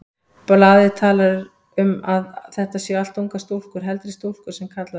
Blaðið talar um að þetta séu allt ungar stúlkur, heldri stúlkur sem kallað er.